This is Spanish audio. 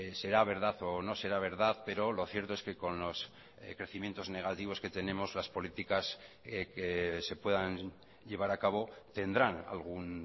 será verdad o no será verdad pero lo cierto es que con los crecimientos negativos que tenemos las políticas que se puedan llevar a cabo tendrán algún